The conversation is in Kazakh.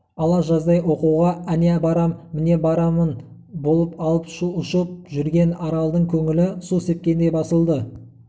ала жаздай оқуға әне барам міне барамын болып алып-ұшып жүрген аралдың көңілі су сепкендей басылды